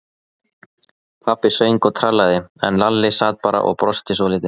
Pabbi söng og trallaði, en Lalli sat bara og brosti svolítið.